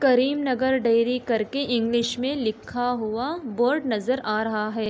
करीम नगर dairy कर के English मे लिखा हुआ बोर्ड नज़र आ रहा है।